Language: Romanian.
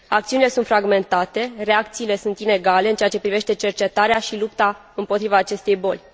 Acțiunile sunt fragmentate, reacțiile sunt inegale în ceea ce privește cercetarea și lupta împotriva acestei boli.